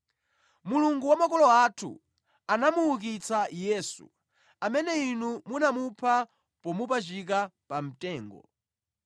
Mulungu wa makolo athu anamuukitsa Yesu, amene inu munamupha pomupachika pa mtengo.